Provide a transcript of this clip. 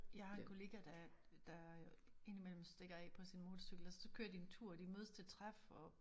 Jeg har en kollega der der ind i mellem stikker af på sin motorcykel og så kører de en tur og de mødes til træf og